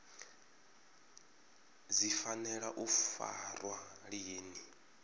dzi fanela u farwa lini